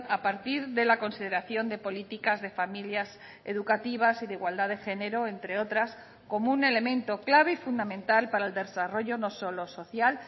a partir de la consideración de políticas de familias educativas y de igualdad de género entre otras como un elemento clave y fundamental para el desarrollo no solo social